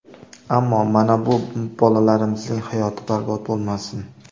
Ammo mana bu bolalarimizning hayoti barbod bo‘lmasin.